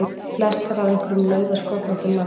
Flestar af einhverjum nauðasköllóttum manni!